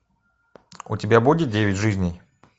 у тебя будет девять жизней